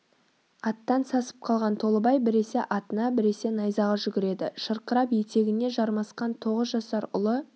аттан сасып қалған толыбай біресе атына біресе найзаға жүгіреді шырқырап етегіне жармасқан тоғыз жасар ұлы